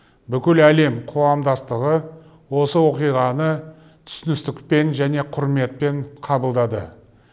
бүкіл әлем қоғамдастығы осы оқиғаны түсіністікпен және құрметпен қабылдады